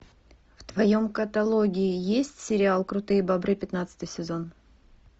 в твоем каталоге есть сериал крутые бобры пятнадцатый сезон